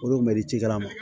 Olu mɛ dikalan ma